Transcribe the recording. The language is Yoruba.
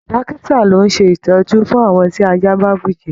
Dókítà ló n ṣe itọju fún àwọn tí ajá bá bujẹ́.